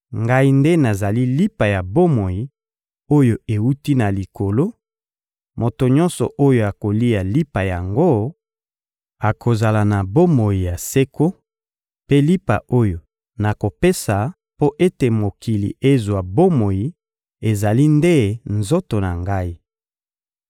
Ngai nde nazali lipa ya bomoi oyo ewuti na Likolo; moto nyonso oyo akolia lipa yango, akozala na bomoi ya seko; mpe lipa oyo nakopesa mpo ete mokili ezwa bomoi ezali nde nzoto na Ngai.